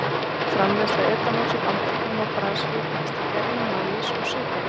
Framleiðsla etanóls í Bandaríkjunum og Brasilíu byggist á gerjun maís og sykurreyrs.